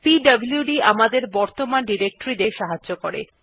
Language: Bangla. পিডব্লুড কমান্ড আমাদেরকে বর্তমান ডিরেক্টরী দেখতে সাহায্য করেন